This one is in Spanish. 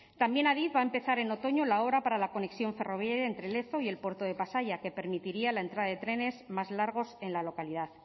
también adif va a empezar en otoño la obra para la conexión ferroviaria entre lezo y el puerto de pasaia que permitiría la entrada de trenes más largos en la localidad